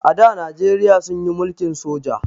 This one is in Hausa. A da najeriya sunyi mulkin soja